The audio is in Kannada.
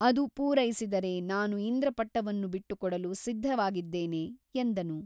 ಅದು ಪೂರೈಸಿದರೆ ನಾನು ಇಂದ್ರಪಟ್ಟವನ್ನು ಬಿಟ್ಟುಕೊಡಲು ಸಿದ್ಧವಾಗಿದ್ದೇನೆ ಎಂದನು.